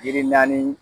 Yiri naani